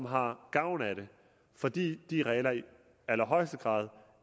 har gavn af det fordi de regler i allerhøjeste grad